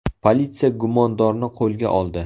Politsiya gumondorni qo‘lga oldi.